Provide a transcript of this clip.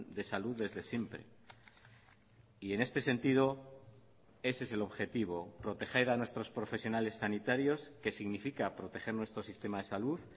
de salud desde siempre y en este sentido ese es el objetivo proteger a nuestros profesionales sanitarios que significa proteger nuestro sistema de salud